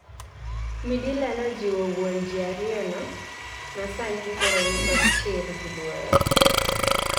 Midila nojiwo wuon jiariyono masani koro nikod chir gi luoro